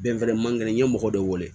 Bɛnfɛrɛ man kɛnɛ n ye mɔgɔ de wele